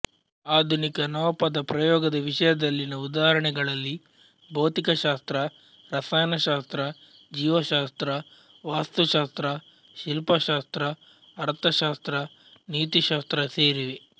ಆಧುನಿಕ ನವಪದ ಪ್ರಯೋಗದ ವಿಷಯದಲ್ಲಿನ ಉದಾಹರಣೆಗಳಲ್ಲಿ ಭೌತಿಕಶಾಸ್ತ್ರ ರಸಾಯನಶಾಸ್ತ್ರ ಜೀವಶಾಸ್ತ್ರ ವಾಸ್ತುಶಾಸ್ತ್ರ ಶಿಲ್ಪಶಾಸ್ತ್ರ ಅರ್ಥಶಾಸ್ತ್ರ ನೀತಿಶಾಸ್ತ್ರ ಸೇರಿವೆ